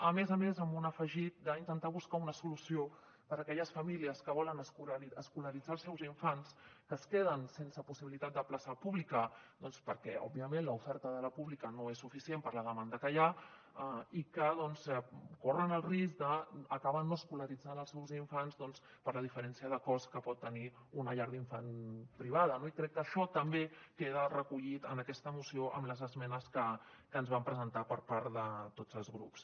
a més a més amb un afegit d’intentar buscar una solució per a aquelles famílies que volen escolaritzar els seus infants que es queden sense possibilitat de plaça pública doncs perquè òbviament l’oferta de la pública no és suficient per la demanda que hi ha i que corren el risc d’acabar no escolaritzant els seus infants per la diferència de cost que pot tenir una llar d’infants privada no i crec que això també queda recollit en aquesta moció amb les esmenes que se’ns van presentar per part de tots els grups